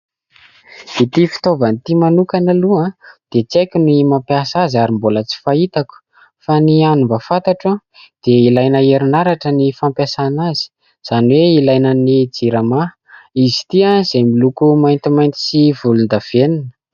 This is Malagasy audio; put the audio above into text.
Ity fitaovana ity manokana aloha dia tsy haiko ny mampiasa azy ary mbola tsy fahitako fa ny hany mba fantatro dia ilaina herinaratra ny fampiasana azy izany hoe ilaina ny jirama. Izy ity izay miloko maintimainty sy volondavenona.